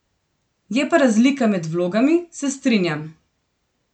Je pa razlika med vlogami, se strinjam.